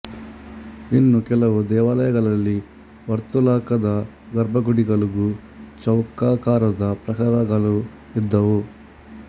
ಇನ್ನು ಕೆಲವು ದೇವಾಲಯಗಳಲ್ಲಿ ವರ್ತುಲಾಕಾದ ಗರ್ಭಗುಡಿಗಳೂ ಚೌಕಾಕಾರದ ಪ್ರಾಕಾರಗಳೂ ಇದ್ದುವು